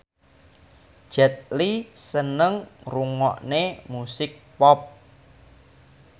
Jet Li seneng ngrungokne musik pop